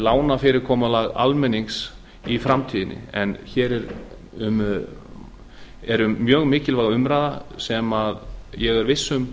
lánafyrirkomulag almennings í framtíðinni hér er mjög mikilvæg umræða sem ég er viss um